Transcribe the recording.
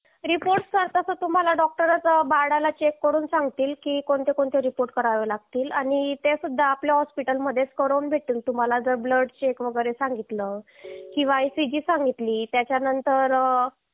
अहवाल तर तुम्हाला डॉक्टरच बाळाला चेक करून सांगतील की कोणते कोणते अहवाल करावे लागतील आणि ते सुद्धा आपल्या रुग्णालय मध्येच करून भेटेल तुम्हाला जर ब्लड चेक वगैरे सांगितलं किंवा आयसीजि सांगितली त्याच्या नंतर